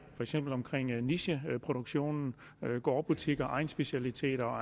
omkring nicheproduktion gårdbutikker egnsspecialiteter og